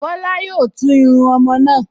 Bọ́lá yóò tún irun ọmọ náà